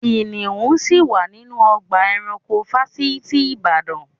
Kìnìún ṣì wà nínú ọgbà eranko fásitì ìbàdàn.